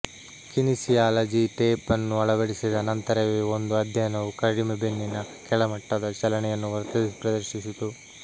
kinesiology tape ಅನ್ನು ಅಳವಡಿಸಿದ ನಂತರವೇ ಒಂದು ಅಧ್ಯಯನವು ಕಡಿಮೆ ಬೆನ್ನಿನ ಕೆಳಮಟ್ಟದ ಚಲನೆಯನ್ನು ಪ್ರದರ್ಶಿಸಿತು